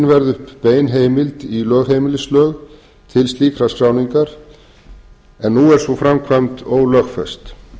að tekin verði upp bein heimild í lögheimilislög til slíkrar skráningar en nú er sú framkvæmd ólögfest